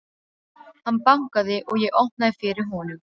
Hann bankaði og ég opnaði fyrir honum.